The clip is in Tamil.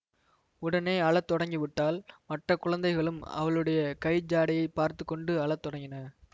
உடனே அழ தொடங்கிவிட்டாள் மற்ற குழந்தைகளும் அவளுடைய கை ஜாடையைப் பார்த்து கொண்டு அழ தொடங்கின